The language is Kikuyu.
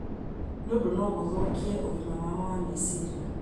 nĩ ũndũ no gũthũkie ũgima wao wa meciria.